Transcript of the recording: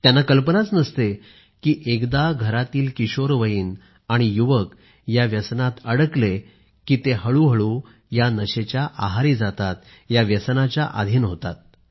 त्यांना कल्पनाच नसते की एकदा घरातील किशोरवयीन आणि युवक या व्यसनात अडकले कि त्यानंतर ते हळूहळू या नशेच्या आहारी जातात या व्यसनाच्या अधीन होतात